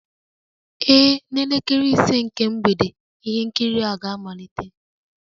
Ee, n'elekere ise nke mgbede ihe nkiri ga-amalite